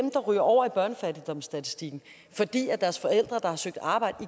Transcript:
ryger over i børnefattigdomsstatistikken det er deres forældre der har søgt arbejde